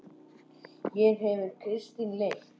Hér hefur Kristín leit.